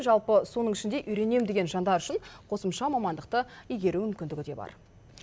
жалпы соның ішінде үйренем деген жандар үшін қосымша мамандықты игеру мүмкіндігі де бар